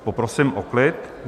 Poprosím o klid!